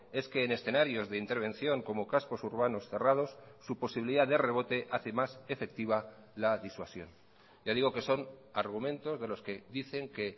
es que en escenarios de intervención como cascos urbanos cerrados su posibilidad de rebote hace más efectiva la disuasión ya digo que son argumentos de los que dicen que